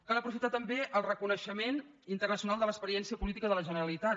cal aprofitar també el reconeixement internacional de l’experiència política de la generalitat